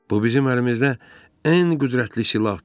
Bu bizim əlimizdə ən qüdrətli silahdır.